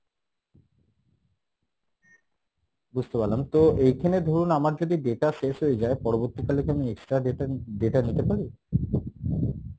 বুঝতে পারলাম তো এইখানে ধরুন আমার যদি data শেষ হয়ে যাই পরবর্তীকালে কী আমি extra data data নিতে পারি?